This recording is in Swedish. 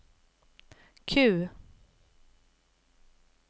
Q